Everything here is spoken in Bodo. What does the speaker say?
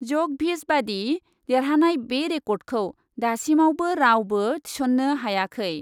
जकभिच बादि देरहानाय बे रेकर्डखौ दासिमावबो रावबो थिसन्नो हायाखै ।